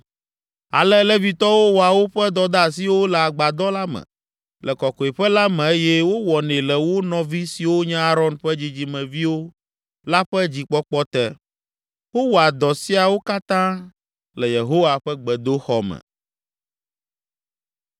Ale Levitɔwo wɔa woƒe dɔdeasiwo le Agbadɔ la me, le Kɔkɔeƒe la me eye wowɔnɛ le wo nɔvi siwo nye Aron ƒe dzidzimeviwo la ƒe dzikpɔkpɔ te. Wowɔa dɔ siawo katã le Yehowa ƒe gbedoxɔ me.